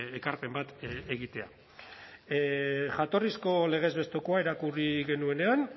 ekarpen bat egitea jatorrizko legez bestekoa irakurri genuenean